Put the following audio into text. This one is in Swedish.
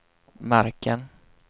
marken